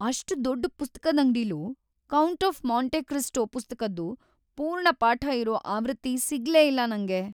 ಅಷ್ಟ್‌ ದೊಡ್ಡ್ ಪುಸ್ತಕದಂಗ್ಡಿಲೂ "ಕೌಂಟ್ ಆಫ್ ಮಾಂಟೆ ಕ್ರಿಸ್ಟೋ" ಪುಸ್ತಕದ್ದು ಪೂರ್ಣಪಾಠ ಇರೋ ಆವೃತ್ತಿ ಸಿಗ್ಲೇ ಇಲ್ಲ ನಂಗೆ.